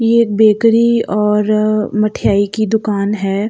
ये एक बैकेरी और मठियाई की दुकान है।